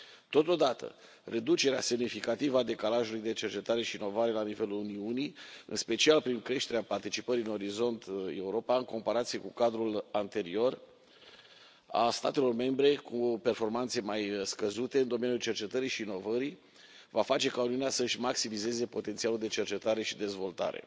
Totodată, reducerea semnificativă a decalajului de cercetare și inovare la nivelul Uniunii, în special prin creșterea participării în Orizont Europa, în comparație cu cadrul anterior, a statelor membre cu performanțe mai scăzute în domeniul cercetării și inovării va face ca Uniunea să își maximizeze potențialul de cercetare și dezvoltare.